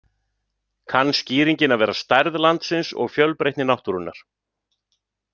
Kann skýringin að vera stærð landsins og fjölbreytni náttúrunnar.